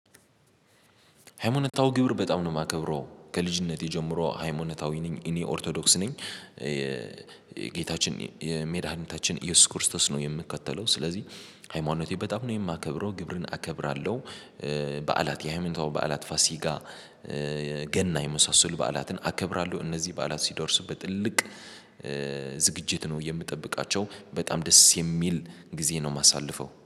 ሃይማኖታዊ ግብር በጣም ነው የማከብረው። ከልጅነቴ ጀምሮ ሃይማኖታዊ ነኝ። እኔ ኦርቶዶክስ ነኝ። የጌታችን የመዳኒታችን ኢየሱስ ክርስቶስ ነው የምከተለው። ስለዚህ ሃይማኖቴ በጣም ነው የማከብረው። ግብርን አከብራለሁ። በዓላት የሃይመንታው በዓላት ፋሲጋ ገና የመሳሰሉ በዓላትን አከብራለሁ። እነዚህ በዓላት ሲደርስበት በትልቅ ዝግጅት ነው የምጠብቃቸው። በጣም ደስ የሚል ጊዜ ነው የማሳልፈው።